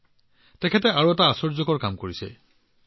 সুৰেশ কুমাৰজীয়ে আন এটা আশ্চৰ্যকৰ কাম কৰিছে